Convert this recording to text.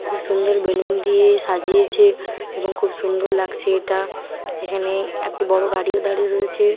খুব সুন্দর বেলুন দিয়ে সাজিয়েছে এবং খুব সুন্দর লাগছে এটা। এখানে একটি বড় গাড়ি ও দাঁড়িয়ে রয়েছে।